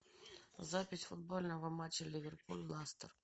запись футбольного матча ливерпуль лестер